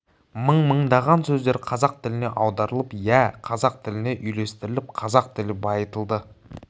мың-мыңдаған сөздер қазақ тіліне аударылып иә қазақ тіліне үйлестіріліп қазақ тілі байытылды